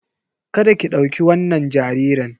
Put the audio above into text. Kada ki ɗauki wannan jaririn!